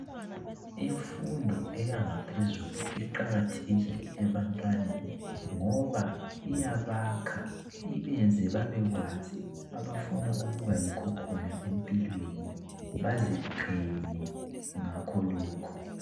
Imfundo eyangaphezulu iqakathekile ebantwaneni ngoba iyabakha, ibenze babekwazi abafuna ukuba yikho khona empilweni baziqhenye ngakho lokho.